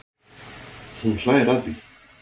Hún hlær að því.